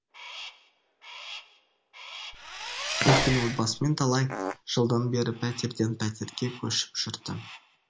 өйткені отбасымен талай жылдан бері пәтерден пәтерге көшіп жүрді